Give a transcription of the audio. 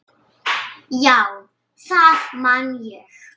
Já, það man ég